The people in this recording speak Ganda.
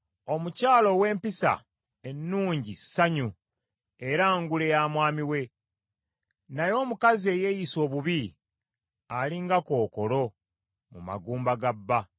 Omukyala ow’empisa ennungi ssanyu era ngule ya mwami we, naye omukazi eyeeyisa obubi ali nga kookolo mu magumba ga bba.